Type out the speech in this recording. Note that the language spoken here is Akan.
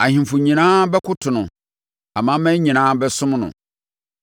Ahemfo nyinaa bɛkoto no amanaman nyinaa bɛsom no.